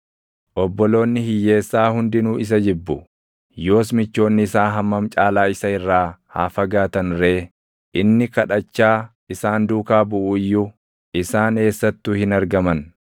Obboloonni hiyyeessaa hundinuu isa jibbu; yoos michoonni isaa hammam caalaa isa irraa haa fagaatan ree! Inni kadhachaa isaan duukaa buʼu iyyuu isaan eessattuu hin argaman.